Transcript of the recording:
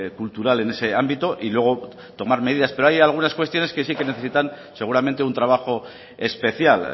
cultural en ese ámbito y luego tomar medidas pero hay algunas cuestiones que sí que necesitan seguramente un trabajo especial